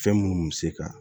Fɛn minnu bɛ se ka